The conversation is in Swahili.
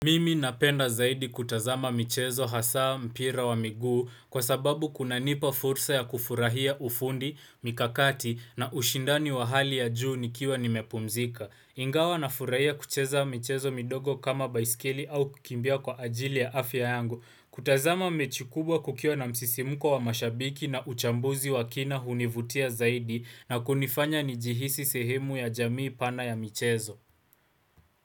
Mimi napenda zaidi kutazama michezo hasaa mpira wa miguu kwa sababu kuna nipa fursa ya kufurahia ufundi, mikakati na ushindani wa hali ya juu nikiwa nimepumzika. Ingawa na furahia kucheza michezo midogo kama baiskeli au kukimbia kwa ajili ya afya yangu. Kutazama mechi kubwa kukiwa na msisimuko wa mashabiki na uchambuzi wa kina hunivutia zaidi na kunifanya njihisi sehemu ya jamii pana ya michezo.